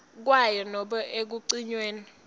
kwayo nobe ekucinyweni